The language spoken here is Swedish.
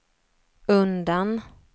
undan